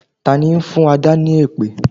Tani ń fún Adà ni èpè?